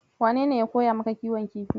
Wanene ya koya maka kiwon kifi?